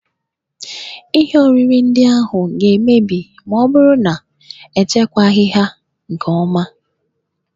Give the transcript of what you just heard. Ihe oriri ndị ahụ ga-emebi ma ọ bụrụ na echekwaghị ha nke ọma.